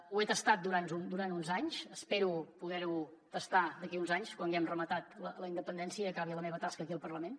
ho he tastat durant uns anys espero poder ho tastar d’aquí a uns anys quan haguem rematat la independència i acabi la meva tasca aquí al parlament